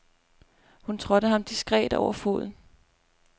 Hun trådte ham diskret over foden.